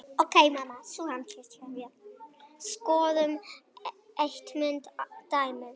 Skoðum eitt ímyndað dæmi.